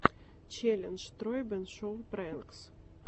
челлендж тройбэн шоу прэнкс